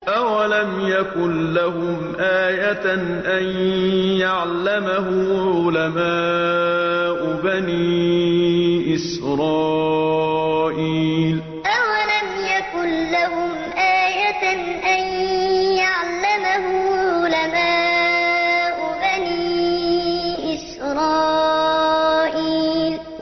أَوَلَمْ يَكُن لَّهُمْ آيَةً أَن يَعْلَمَهُ عُلَمَاءُ بَنِي إِسْرَائِيلَ أَوَلَمْ يَكُن لَّهُمْ آيَةً أَن يَعْلَمَهُ عُلَمَاءُ بَنِي إِسْرَائِيلَ